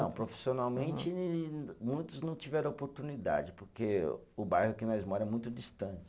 Profissionalmente muitos não tiveram oportunidade, porque o bairro que nós mora é muito distante.